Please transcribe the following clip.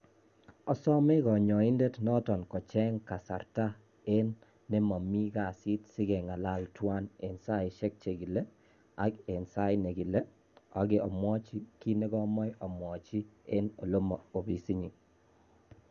Asome konyoindet Norton kocheng kasarta nemomi kasit sikengalal tuwan eng saisiek chekile, ak eng sait nekile ok omwochi kit nekomoche omwochii eng olemo ofisinyin